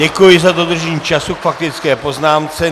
Děkuji za dodržení času k faktické poznámce.